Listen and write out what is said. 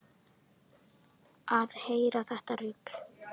Að heyra þetta raul.